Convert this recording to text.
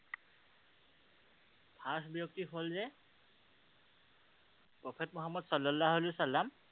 First ব্যক্তি হল যে prophet মুহাম্মাদ ছাল্লাল্লাহু ছাল্লাম